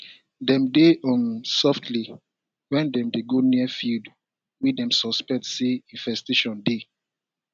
dem dey hum softly when dem dey go near field wey dem suspect say infestation dey